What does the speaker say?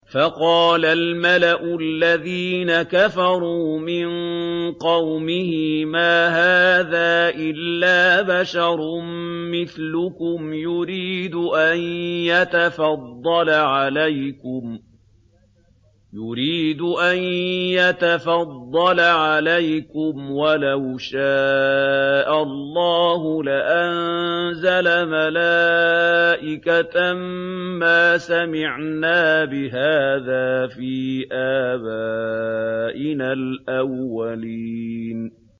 فَقَالَ الْمَلَأُ الَّذِينَ كَفَرُوا مِن قَوْمِهِ مَا هَٰذَا إِلَّا بَشَرٌ مِّثْلُكُمْ يُرِيدُ أَن يَتَفَضَّلَ عَلَيْكُمْ وَلَوْ شَاءَ اللَّهُ لَأَنزَلَ مَلَائِكَةً مَّا سَمِعْنَا بِهَٰذَا فِي آبَائِنَا الْأَوَّلِينَ